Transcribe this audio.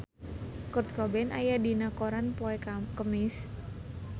Kurt Cobain aya dina koran poe Kemis